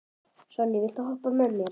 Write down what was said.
Sonný, viltu hoppa með mér?